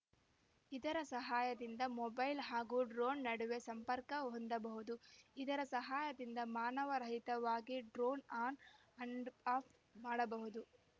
ಇದರ ಸಹಾಯದಿಂದ ಮೊಬೈಲ್‌ ಹಾಗೂ ಡ್ರೋನ್‌ ನಡುವೆ ಸಂಪರ್ಕ ಹೊಂದಬಹುದು ಇದರ ಸಹಾಯದಿಂದ ಮಾನವ ರಹಿತವಾಗಿ ಡ್ರೋನ್‌ ಆನ್‌ ಅಂಡ್‌ಆಪ್‌ ಮಾಡಬಹುದು